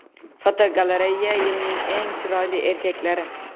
Fotogalereya: Yilning eng chiroyli erkaklari.